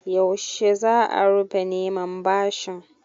Yaushe za a rufe neman bashin?